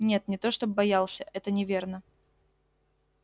нет не то чтоб боялся это неверно